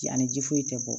Ji ani ji foyi tɛ bɔ